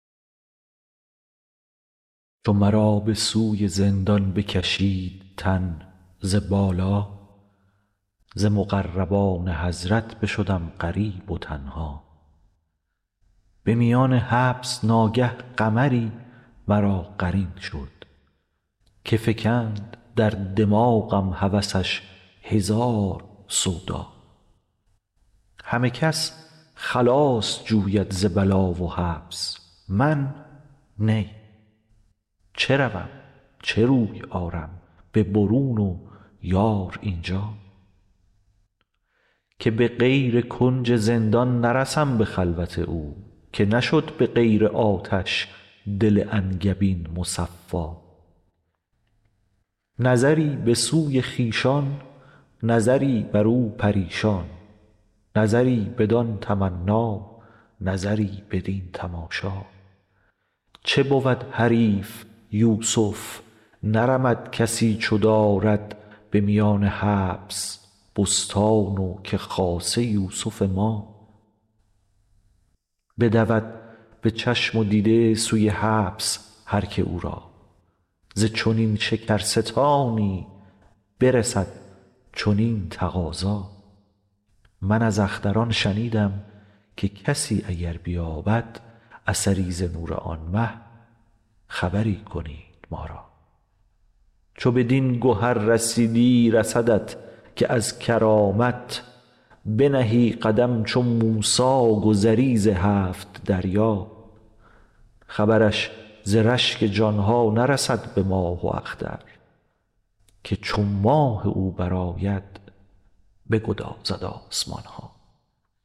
چو مرا به سوی زندان بکشید تن ز بالا ز مقربان حضرت بشدم غریب و تنها به میان حبس ناگه قمری مرا قرین شد که فکند در دماغم هوسش هزار سودا همه کس خلاص جوید ز بلا و حبس من نی چه روم چه روی آرم به برون و یار این جا که به غیر کنج زندان نرسم به خلوت او که نشد به غیر آتش دل انگبین مصفا نظری به سوی خویشان نظری برو پریشان نظری بدان تمنا نظری بدین تماشا چو بود حریف یوسف نرمد کسی چو دارد به میان حبس بستان و که خاصه یوسف ما بدود به چشم و دیده سوی حبس هر کی او را ز چنین شکرستانی برسد چنین تقاضا من از اختران شنیدم که کسی اگر بیابد اثری ز نور آن مه خبری کنید ما را چو بدین گهر رسیدی رسدت که از کرامت بنهی قدم چو موسی گذری ز هفت دریا خبرش ز رشک جان ها نرسد به ماه و اختر که چو ماه او برآید بگدازد آسمان ها خجلم ز وصف رویش به خدا دهان ببندم چه برد ز آب دریا و ز بحر مشک سقا